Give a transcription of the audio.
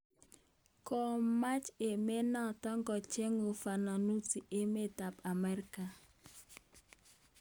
Komaach emenoto kocher ufafanusi emet ab Ameriga